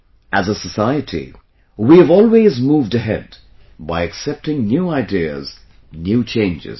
As a society, we have always moved ahead by accepting new ideas, new changes